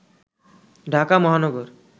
Dhaka Mahanagar